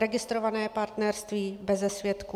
Registrované partnerství - beze svědků.